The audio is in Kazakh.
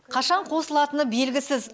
қашан қосылатыны белгісіз